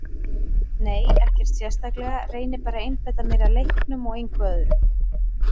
Nei ekkert sérstaklega, reyni bara að einbeita mér að leiknum og engu öðru.